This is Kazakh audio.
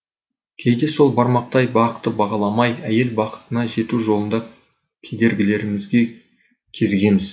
кейде сол бармақтай бақты бағаламай әйел бақытына жету жолында кедергілерге кезігеміз